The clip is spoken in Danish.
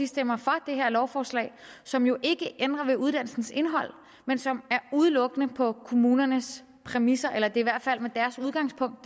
stemmer for det her lovforslag som jo ikke ændrer ved uddannelsens indhold men som udelukkende på kommunernes præmisser eller i hvert fald tager udgangspunkt